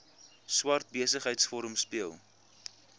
swart besigheidsforum speel